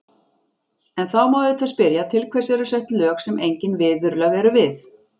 En þá má auðvitað spyrja, til hvers eru sett lög sem engin viðurlög eru við?